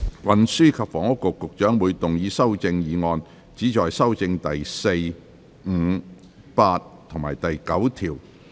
運輸及房屋局局長會動議修正案，旨在修正第4、5、8及9條。